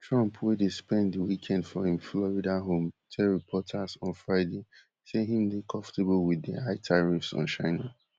trump wey dey spend di weekend for im florida home tell reporters on friday say im dey comfortable wit di high tariffs on china